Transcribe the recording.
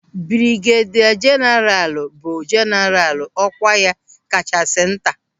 Brigedia jeenaralu bụ jeenaralu ọkwa ya kachasị nta.